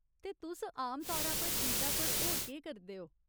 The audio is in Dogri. ते तुस आमतौरा पर ईदा पर होर केह् करदे ओ ?